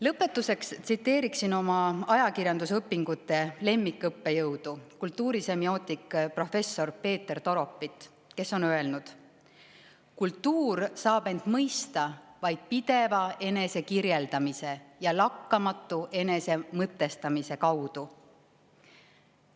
Lõpetuseks tsiteerin oma ajakirjandusõpingute aegset lemmikõppejõudu, kultuurisemiootika professorit Peeter Toropit, kes on öelnud, et kultuur saab end mõista vaid pideva enesekirjeldamise ja lakkamatu enesemõtestamise kaudu.